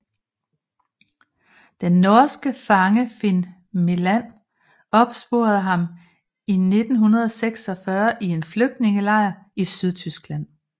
Den norske fange Finn Meland opsporede ham i 1946 i en flygtningelejr i Sydtyskland